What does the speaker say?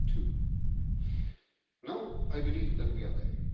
2. Now, I believe that we are there.